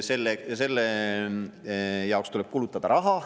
Selle jaoks tuleb kulutada raha.